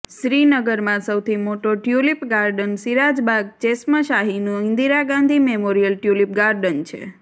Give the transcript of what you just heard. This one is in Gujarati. શ્રીનગરમાં સૌથી મોટો ટ્યૂલિપ ગાર્ડન સિરાજ બાગ ચેશ્મશાહીનું Indira Gandhi memorial tulip garden છે